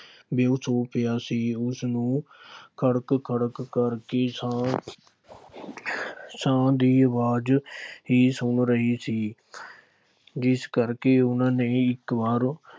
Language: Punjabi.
ਬੇਹੋਸ਼ ਹੋਇਆ ਪਿਆ ਸੀ। ਉਸਨੂੰ ਕੜਕ ਕੜਕ ਕੜਕਦੀ ਸਾਹ ਸਾਹ ਦੀ ਆਵਾਜ਼ ਹੀ ਸੁਣ ਰਹੀ ਸੀ। ਜਿਸ ਕਰਕੇ ਉੇਹਨਾ ਨੇ ਇੱਕ ਵਾਰ